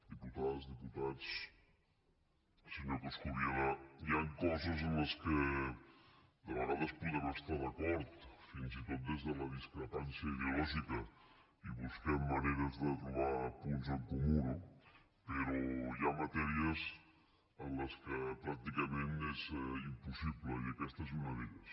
diputades diputats senyor coscubiela hi han coses en què de vegades podem estar d’acord fins i tot des de la discrepància ideològica i busquem maneres de trobar punts en comú no però hi ha matèries en les quals pràcticament és impossible i aquesta és una d’elles